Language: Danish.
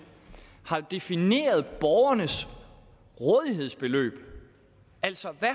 har defineret borgernes rådighedsbeløb altså hvad